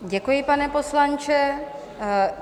Děkuji, pane poslanče.